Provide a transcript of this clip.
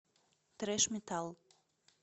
трэш метал